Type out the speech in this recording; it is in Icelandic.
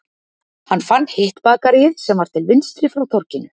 Hann fann hitt bakaríið sem var til vinstri frá torginu